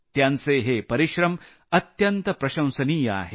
त्यांचे हे परिश्रम अत्यंत प्रशंसनीय आहेत